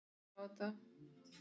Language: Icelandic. Hún sér ekki framan í manninn.